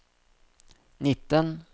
nitten